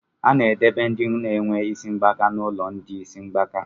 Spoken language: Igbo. A na-edobe ndị na-enwe isi mgbaka n'ụlọ ndị isi mgbaka.